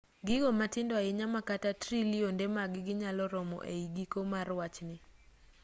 gigo matindo ahinya ma kata trilionde maggi nyalo romo e i giko mar wachni